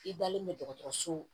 I dalen bɛ dɔgɔtɔrɔso